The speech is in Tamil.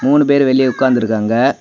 மூணு பேரு வெளிய உட்கார்ந்து இருக்காங்க.